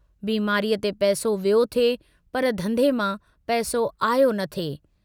बीमारीअ ते पैसो वियो थे पर धंधे मां पैसो आयो न थे।